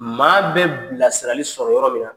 Maa bɛ bilasirali sɔrɔ yɔrɔ min na.